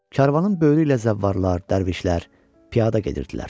Karvanın böyrü ilə zəvvarlar, dərvişlər piyada gedirdilər.